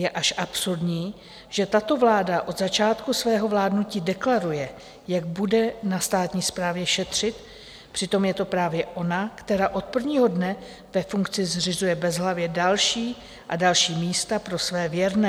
Je až absurdní, že tato vláda od začátku svého vládnutí deklaruje, jak bude na státní správě šetřit, přitom je to právě ona, která od prvního dne ve funkci zřizuje bezhlavě další a další místa pro své věrné.